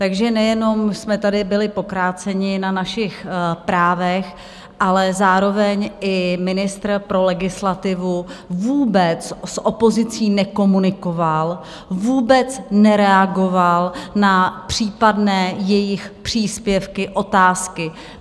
Takže nejenom jsme tady byli pokráceni na našich právech, ale zároveň i ministr pro legislativu vůbec s opozicí nekomunikoval, vůbec nereagoval na případné jejich příspěvky, otázky.